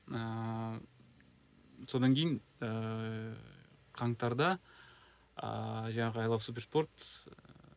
ыыы содан кейін ыыы қаңтарда ыыы жаңағы ай лав суперспорт